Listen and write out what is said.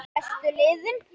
Bestu liðin?